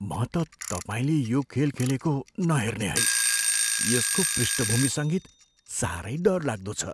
म त तपाईँले यो खेल खेलेको नहेर्ने है। यसको पृष्ठभूमि सङ्गीत साह्रै डरलाग्दो छ!